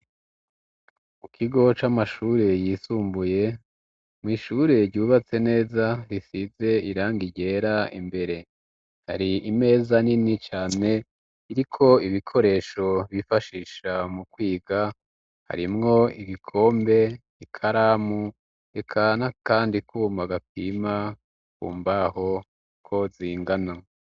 Ikigo c'amashure yisumbuye mw'ishure ryubatse neza risize irangi ryera imbere hari imeza nini cyane iri ko ibikoresho bifashisha mu kwiga harimwo ibikombe ikaramu eka na kandi kuma gapima kumbaho ko zingano.